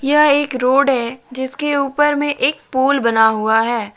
यह एक रोड है जिसके ऊपर में एक पुल बना हुआ है।